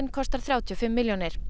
kostar þrjátíu og fimm milljónir